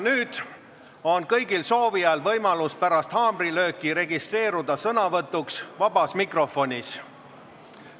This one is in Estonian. Nüüd on kõigil soovijail võimalus pärast haamrilööki registreeruda sõnavõtuks vabas mikrofonis.